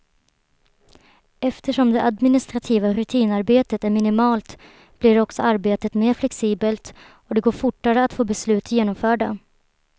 Eftersom det administrativa rutinarbetet är minimalt blir också arbetet mer flexibelt och det går fortare att få beslut genomförda.